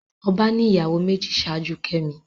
Ọba ní ìyàwó méjì ṣáájú kemi